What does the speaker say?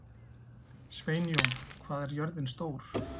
Sveinjón, hvað er jörðin stór?